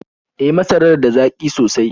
E, masarar da zaƙi sosai.